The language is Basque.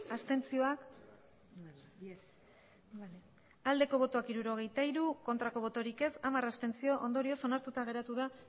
abstentzioa hirurogeita hiru bai hamar abstentzio ondorioz onartuta geratu da